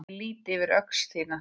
Ég lýt yfir öxl þína.